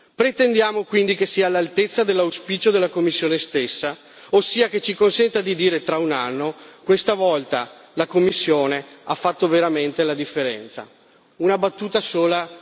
Pretendiamo quindi che sia all'altezza dell'auspicio della Commissione stessa, ossia che ci consenta di dire, tra un anno, che questa volta la Commissione ha fatto veramente la differenza Una battuta sola.